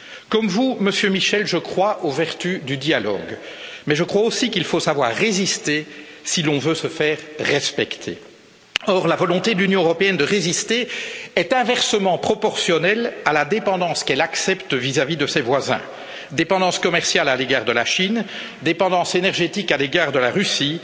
Comme vous, Monsieur Michel, je crois aux vertus du dialogue mais je crois aussi qu'il faut savoir résister si l'on veut se faire respecter. Or, la volonté de l'Union européenne de résister est inversement proportionnelle à la dépendance qu'elle accepte vis à vis de ses voisins dépendance commerciale à l'égard de la Chine, dépendance énergétique à l'égard de la Russie,